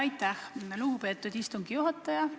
Aitäh, lugupeetud istungi juhataja!